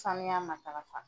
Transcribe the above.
Sanuya matarafa.